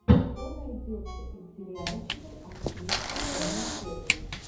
что найдется из сериальчиков актрисы тони коллетт